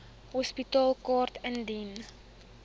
hospitaalkaart indien u